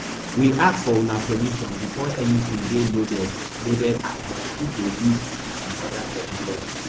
we ask for una permission before anytin dey loaded loaded as dem fit dey use cookies and oda technologies